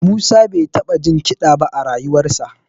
Musa bai taɓa jin kiɗa ba a rayuwarsa